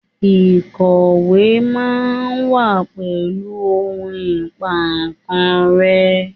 Ikọwe ma wa pẹlu ohun Ìpà kan rẹ́